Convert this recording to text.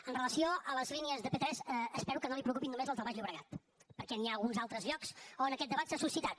amb relació a les línies de p3 espero que no el preocupin només les del baix llobregat perquè hi ha alguns altres llocs on aquest debat s’ha suscitat